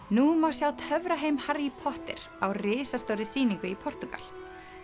nú má sjá Harry Potter á risastórri sýningu í Portúgal